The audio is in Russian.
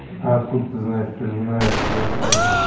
а откуда ты знаешь что мне нравится твояхориум